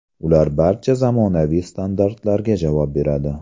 Ular barcha zamonaviy standartlarga javob beradi.